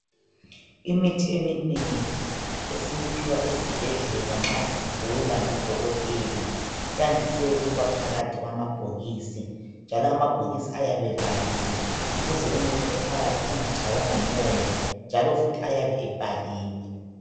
Imithi eminengi esiyiphiwa esibhedlela nxa sigula, ngodokotela, yandise ukuba phakathi kwamabhokisi, njalo amabhokisi ayabe evaliwe ukuze umuthi ophakathi ungatshaywa ngumoya, njalo futhi ayabe ebhaliwe.